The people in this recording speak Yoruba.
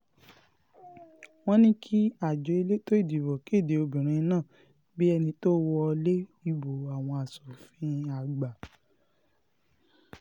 wọ́n ní kí àjọ elétò ìdìbò kéde obìnrin náà bíi ẹni tó wọlé ìbò àwọn asòfin àgbà